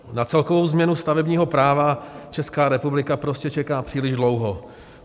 Na celkovou změnu stavebního práva Česká republika prostě čeká příliš dlouho.